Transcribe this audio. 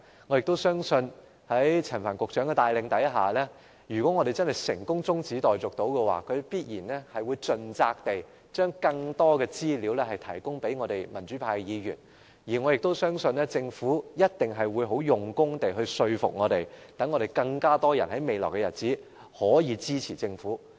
我相信在陳帆局長的帶領下，如果我們成功通過中止待續議案，他亦一定會盡責地把更多資料提供給民主派議員，而我相信政府亦一定會用功說服我們，使未來日子中，會有更多人支持政府。